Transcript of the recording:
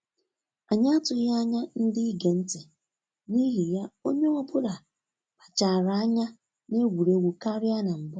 Anyị atụghị anya ndị ige ntị, n'ihi ya onye ọ bụla kpachaara anya na egwuregwu karịa na mbụ